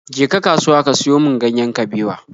Je ka kasuwa ka siyo min ganyen kabewa!